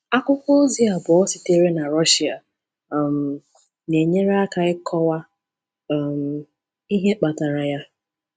Akwụkwọ ozi abụọ sitere na Rọshịa um na-enyere aka ịkọwa um ihe kpatara ya.